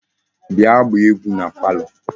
Bia gbaa egwu na palo